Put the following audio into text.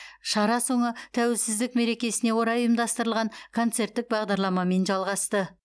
шара соңы тәуелсіздік мерекесіне орай ұйымдастырылған концерттік бағдарламамен жалғасты